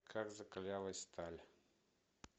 как закалялась сталь